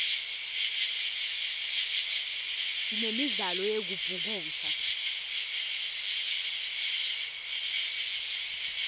sinemdlalo yekubhukusha